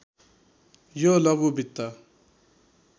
यो लघु वित्त